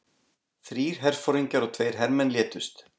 Þrír herforingjar og tveir hermenn létust